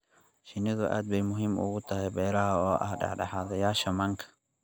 Shinnidu aad bay muhiim ugu tahay beeraha oo ah dhexdhexaadiyeyaasha manka.